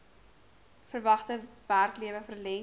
verwagte werklewe verleng